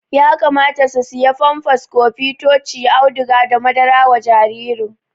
Yakamata su siya famfas, kofi ,tochi, auduga da madara wa jaririn